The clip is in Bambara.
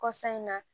Kɔsa in na